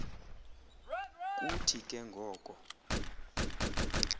kuthi ke ngoko